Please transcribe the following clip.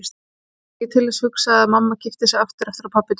Ég mátti ekki til þess hugsa að mamma gifti sig aftur eftir að pabbi dó.